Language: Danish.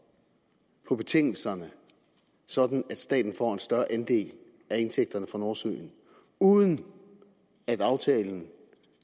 på betingelserne sådan at staten får en større andel af indtægterne fra nordsøen uden at aftalen